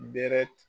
Bɛɛrɛ